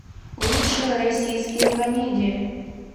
лучшие российские комедии